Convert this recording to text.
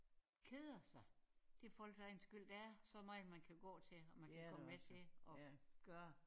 Keder sig? Det er folks egen skyld der er så meget man kan gå til og man kan komme med til og gøre